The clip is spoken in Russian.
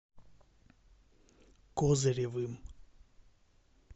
козыревым